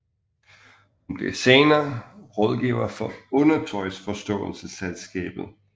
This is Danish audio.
Hun bliver senere rådgiver for Undertøjsforståelsesselskabet